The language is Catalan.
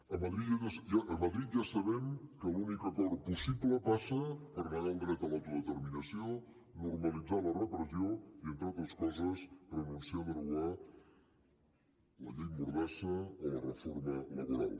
a madrid ja sabem que l’únic acord possible passa per negar el dret a l’autodeterminació normalitzar la repressió i entre altres coses renunciar a derogar la llei mordassa o la reforma laboral